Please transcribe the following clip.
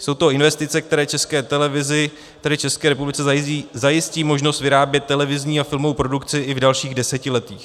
Jsou to investice, které České televizi, tedy České republice, zajistí možnost vyrábět televizní a filmovou produkci i v dalších desetiletích.